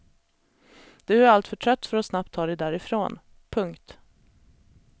Du är alltför trött för att snabbt ta dig därifrån. punkt